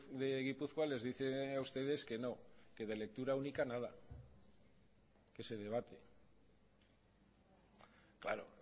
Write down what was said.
de gipuzkoa les dice a ustedes que no que de lectura única nada que se debate claro